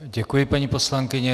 Děkuji, paní poslankyně.